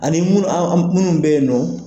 Ani munnu bɛyinnɔ.